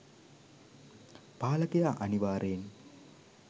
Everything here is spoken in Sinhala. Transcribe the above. පාලකයා අනිවාර්යයෙන්